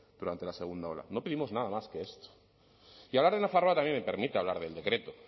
durante la segunda ola no pedimos nada más que esto y hablar de nafarroa también me permite hablar del decreto